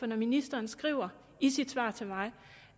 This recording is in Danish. når ministeren skriver i sit svar til mig